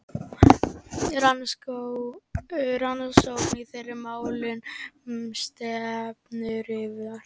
Rannsókn á þeirra málum stendur yfir.